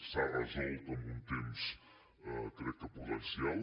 s’ha resolt amb un temps crec que prudencial